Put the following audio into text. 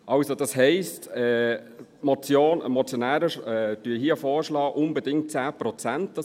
Also heisst das, dass die Motionäre hier unbedingt 10 Prozent vorschlagen.